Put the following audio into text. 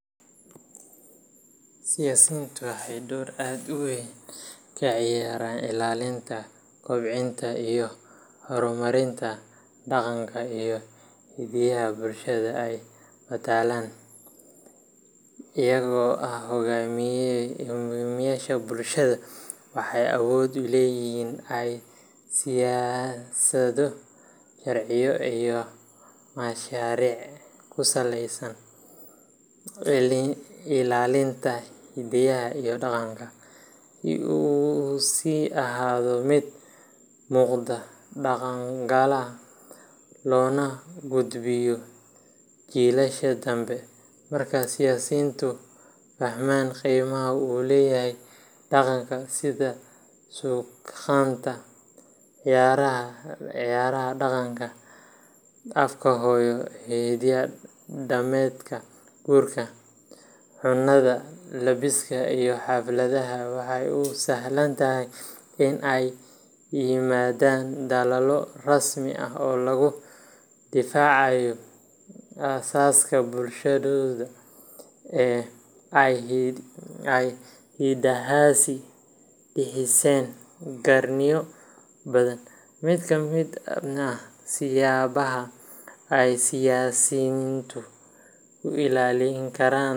Siyasiyiintu waxay door aad u weyn ka ciyaaraan ilaalinta, kobcinta, iyo horumarinta dhaqanka iyo hiddaha bulshada ay matalaan. Iyagoo ah hoggaamiyeyaasha bulshada, waxay awood u leeyihiin in ay siyaasado, sharciyo iyo mashaariic ku saleeyaan ilaalinta hiddaha iyo dhaqanka, si uu u sii ahaado mid muuqda, dhaqangala, loona gudbiyo jiilasha dambe. Marka siyaasiyiintu fahmaan qiimaha uu leeyahay dhaqanka sida suugaanta, ciyaaraha dhaqanka, afka hooyo, hiddo dhaqameedka guurka, cunnada, labiska, iyo xafladaha waxay u sahlan tahay in ay la yimaadaan dadaallo rasmi ah oo lagu difaacayo aasaaska bulshadooda ee ay hiddahaasi dhiseen qarniyo badan. Mid ka mid ah siyaabaha ay siyaasiyiintu ku ilaalin karaan.